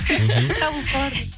табылып қалады